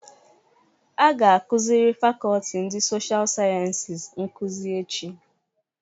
A ga akuzịri Fakọlti ndị Sosha Sayensi nkuzi echi.